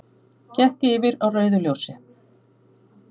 Gekk yfir á rauðu ljósi